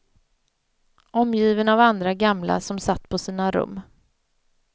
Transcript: Omgiven av andra gamla som satt på sina rum.